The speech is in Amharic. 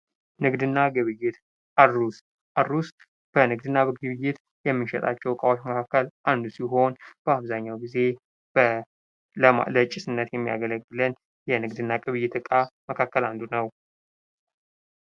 ንግድና ግብይት አሩስ በንግድና ግብይት ከምንሸጣቸው እቃዎች መካከል አንዱ ሲሆን በአብዛኛው ጊዜ ለጭስነት የሚያገለግለን የንግድና የግብይት ዕቃ መካከል አንዱ ነው።